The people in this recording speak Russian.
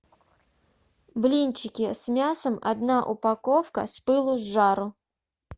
блинчики с мясом одна упаковка с пылу с жару